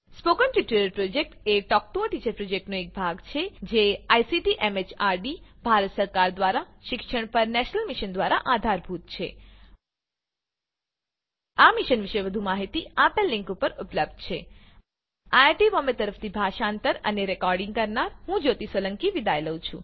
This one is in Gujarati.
સ્પોકન ટ્યુટોરીયલ પ્રોજેક્ટ એ ટોક ટુ અ ટીચર પ્રોજેક્ટનો એક ભાગ છે જે આઇસીટી એમએચઆરડી ભારત સરકાર દ્વારા શિક્ષણ પર નેશનલ મિશન દ્વારા આધારભૂત છે આ મિશન પર વધુ માહીતી નીચે દર્શાવેલ લીંક પર ઉપલબ્ધ છે આઈ આઈ ટી બોમ્બે તરફથી સ્પોકન ટ્યુટોરીયલ પ્રોજેક્ટ માટે ભાષાંતર કરનાર હું જ્યોતી સોલંકી વિદાય લઉં છું